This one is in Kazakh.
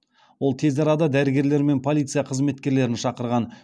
ол тез арада дәрігерлер мен полиция қызметкерлерін шақырған